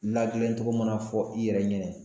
Ladilantogo mana fɔ i yɛrɛ ɲɛnɛ.